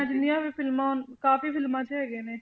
ਜਿੰਨੀਆਂ ਵੀ ਫਿਲਮਾਂ ਕਾਫ਼ੀ ਫਿਲਮਾਂ 'ਚ ਹੈਗੇ ਨੇ